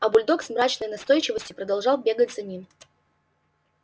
а бульдог с мрачной настойчивостью продолжал бегать за ним